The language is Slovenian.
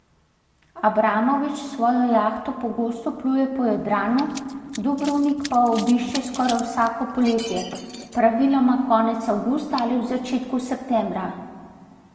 Abramovič s svojo jahto pogosto pluje po Jadranu, Dubrovnik pa obišče skoraj vsako poletje, praviloma konec avgusta ali v začetku septembra.